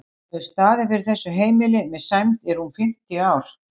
Hún hefur staðið fyrir þessu heimili með sæmd í rúm fimmtíu ár.